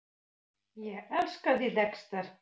Ég elskaði Dexter.